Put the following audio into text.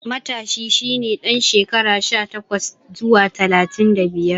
Matashi shi ne ɗan shekara sha takwas zuwa talatin da biyar.